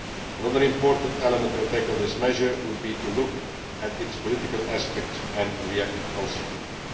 Another important element to tackle this measure would be to look at its political aspects and react consequently.